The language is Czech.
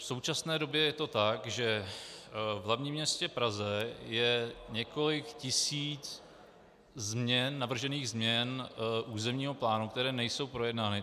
V současné době je to tak, že v hlavním městě Praze je několik tisíc navržených změn územního plánu, které nejsou projednány.